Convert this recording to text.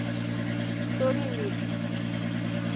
тори лиз